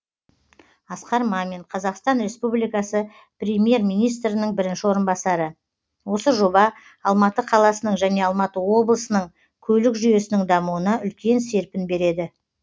асқар мамин қазақстан республикасының премьер министрінің бірінші орынбасары осы жоба алматы қаласының және алматы облысының көлік жүйесінің дамуына үлкен серпін береді